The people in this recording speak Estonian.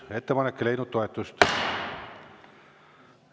Ettepanek ei leidnud toetust.